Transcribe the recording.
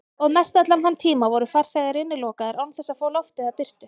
Og mestallan þann tíma voru farþegar innilokaðir án þess að fá loft eða birtu.